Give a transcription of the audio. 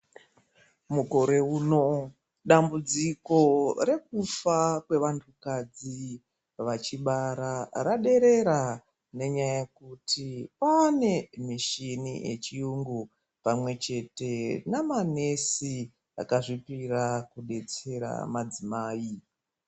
Mukore uno dambudziko rekufa kwevanthukadzi vachibara raderera nenyaya yekuti kwaane mishini yechiyungu pamwechete namanesi akazvipira kudetsera madzimai.